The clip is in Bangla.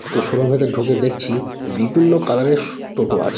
তো শোরুম -এ তে ঢুকে দেখছি বিভিন্ন কালার -এর স টোটো আছে।